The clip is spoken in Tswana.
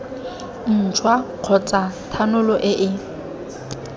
ntšhwa kgotsa thanolo e e